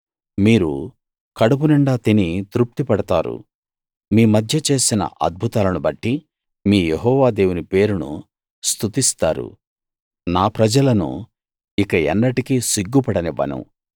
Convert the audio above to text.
మీరు కడుపునిండా తిని తృప్తి పడతారు మీ మధ్య చేసిన అద్భుతాలను బట్టి మీ యెహోవా దేవుని పేరును స్తుతిస్తారు నా ప్రజలను ఇక ఎన్నటికీ సిగ్గుపడనివ్వను